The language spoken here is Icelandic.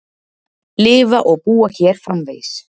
Lifa og búa hér framvegis.